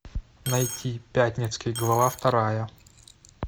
найти пятницкий глава вторая